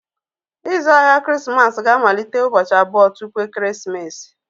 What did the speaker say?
Ịzụ ahịa Krismas ga-amalite ụbọchị abụọ tupu ekeresimesi.